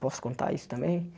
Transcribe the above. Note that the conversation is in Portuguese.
Posso contar isso também?